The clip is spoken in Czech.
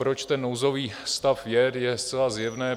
Proč ten nouzový stav je, je zcela zjevné.